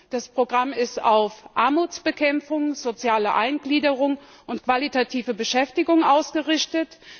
Das Programm ist auf Armutsbekämpfung, soziale Eingliederung und qualitative Beschäftigung ausgerichtet.